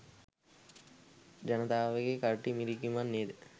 ජනතාවගේ කරටි මිරිකීමක් නේද?